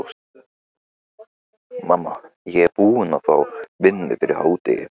Mamma, ég er búinn að fá vinnu fyrir hádegi.